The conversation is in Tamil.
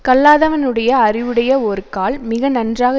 கல்லாதவனுடைய அறிவுடைய ஒருக்கால் மிக நன்றாக